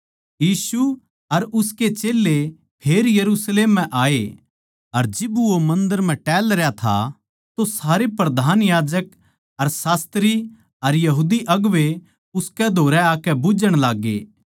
यीशु अर उसके चेल्लें फेर यरुशलेम म्ह आये अर जिब वो मन्दर म्ह टहलरया था तो सारे प्रधान याजक अर शास्त्री अर यहूदी अगुवें उसकै धोरै आकै बुझ्झण लाग्गे